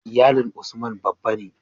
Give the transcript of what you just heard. Iyalin Usman babba ne